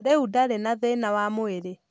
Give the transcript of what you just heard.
Rĩu ndari na thĩna wa mwĩrĩ.